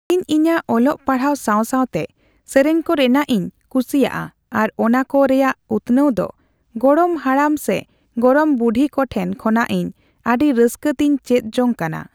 ᱤᱧ ᱤᱧᱟᱹᱜ ᱚᱞᱚᱜ ᱯᱟᱲᱦᱟᱜ ᱥᱟᱣ-ᱥᱟᱣᱛᱮ ᱥᱮᱨᱮᱧ ᱠᱚ ᱨᱤᱱᱟᱜ ᱤᱧ ᱠᱩᱥᱤᱭᱟᱜᱼᱟ ᱟᱨ ᱚᱱᱟ ᱠᱚ ᱨᱮᱭᱟᱜ ᱩᱛᱱᱟᱹᱣ ᱫᱚ ᱜᱚᱲᱚᱢ ᱦᱟᱲᱟᱢ ᱥᱮ ᱜᱚᱲᱚᱢ ᱵᱩᱰᱦᱤ ᱠᱚᱴᱷᱮᱱ ᱠᱷᱚᱱᱟᱜ ᱤᱧ ᱟᱹᱰᱤ ᱨᱟᱹᱥᱠᱟᱹ ᱛᱤᱧ ᱪᱮᱫ ᱡᱚᱝ ᱟᱠᱟᱱᱟ ᱾